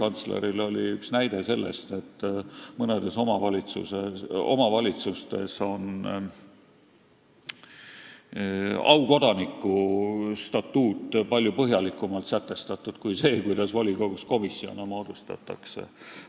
Õiguskantsleril oli üks näide selle kohta, et mõnes omavalitsuses on aukodaniku statuut palju põhjalikumalt sätestatud kui see, kuidas volikogus komisjone moodustatakse.